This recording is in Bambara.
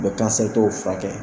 U bɛ kansɛritɔw furakɛ.